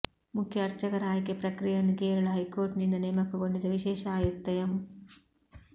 ಮುಖ್ಯ ಆರ್ಚಕರ ಆಯ್ಕೆ ಪ್ರಕ್ರಿಯೆಯನ್ನು ಕೇರಳ ಹೈಕೋರ್ಟ್ ನಿಂದ ನೇಮಕಗೊಂಡಿದ್ದ ವಿಶೇಷ ಆಯುಕ್ತ ಎಂ